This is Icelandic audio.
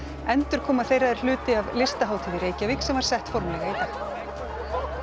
endurkoma þeirra er hluti af Listahátíð í Reykjavík sem var sett formlega